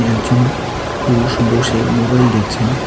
একজন পুরুষ বসে মোবাইল দেখছেন।